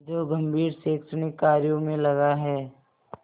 जो गंभीर शैक्षणिक कार्यों में लगा है